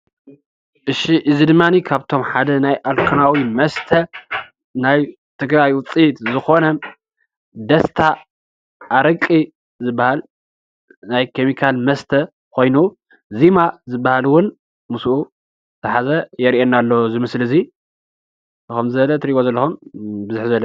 ክሹይ እዙይ ድማኒ ካብቶም ናይ ኣልኮላዊ መስተ ናይ ትግራይ ውፅኢት ዝኾነ ደስታ ኣረቂ ዝባሃል ናይ ኬሚካል መስተ ኾይኑ ዜማ ዝባሃል እውን ምስኡ ዝሓዘ የርእየና ኣሎ እዚ ምስሊ እዙይ። ከምዚ ዝበለ ትሪኢዎ ዘለኹም ብዝሕ ዝበለ...